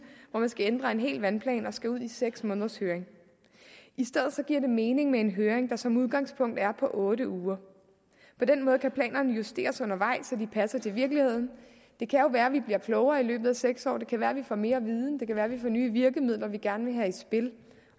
hvor man skal ændre en hel vandplan og skal ud i seks måneders høring i stedet giver det mening med en høring der som udgangspunkt er på otte uger på den måde kan planerne justeres undervejs så de passer til virkeligheden det kan jo være vi bliver klogere i løbet af seks år det kan være vi får mere viden det kan være vi får nye virkemidler vi gerne vil have i spil